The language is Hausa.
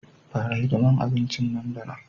Fara hidimar abincin nan da nan